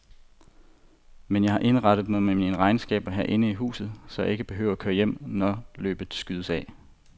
Men jeg har indrettet mig med mine regnskaber herinde i huset, så jeg ikke behøver at køre hjem, når løbet skydes af.